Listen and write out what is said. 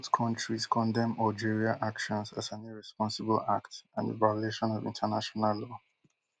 both kontries condemn algeria actions as an irresponsible act and a violation of international law